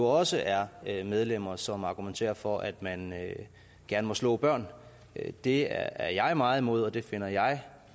også er medlemmer som argumenterer for at man gerne må slå børn det er jeg meget imod og det finder jeg